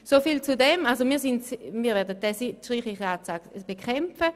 Wir werden diesen Streichungsantrag also bekämpfen.